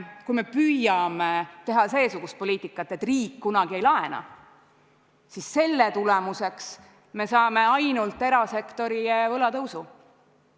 Kui me püüame teha seesugust poliitikat, et riik kunagi ei laena, siis selle tulemuseks me saame ainult erasektori võla tõusu.